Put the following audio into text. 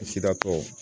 Sida tɔw